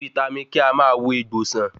Vítámì K a máa wo egbò san